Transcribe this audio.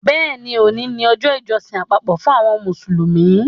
Bẹ́ẹ̀ni, òní ni ọjọ́ ìjọsìn àpapọ̀ fún àwọn Mùsùlùmí